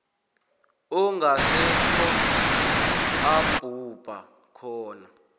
ongasekho abhubha khona